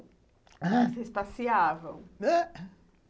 Vocês passeavam?